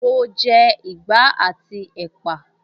Mo jẹ ìgbá àti ẹ́pà